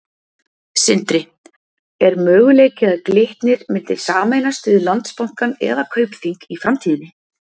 Sindri: Er möguleiki að Glitnir myndi sameinast við Landsbankann eða Kaupþing í framtíðinni?